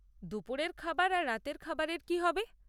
দুপুরের খাবার আর রাতের খাবারের কী হবে?